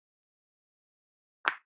Talar litla sem enga ensku.